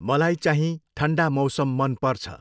मलाई चाहिँ ठन्डा मौसम मन पर्छ